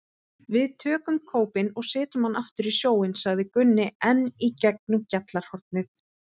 Við tökum kópinn og setjum hann aftur í sjóinn, sagði Gunni enn í gegnum gjallarhornið.